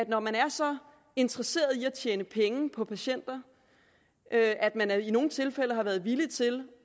når man er så interesseret i at tjene penge på patienter at at man i nogle tilfælde har været villig til